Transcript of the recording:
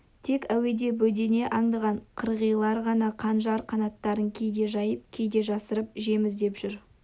тек әуеде бөдене аңдыған қырғилар ғана қанжар қанаттарын кейде жайып кейде жасырып жем іздеп жүр